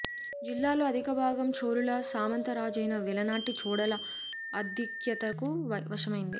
జిల్లాలో అధిక భాగం చోళుల సామంతరాజైన వెలనాటి చోడుల ఆధిక్యతకు వశమైంది